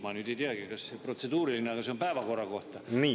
Ma nüüd ei teagi, kas protseduuriline, aga see on päevakorra kohta.